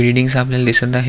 बिल्बिंगस आपल्याला दिसत आहे.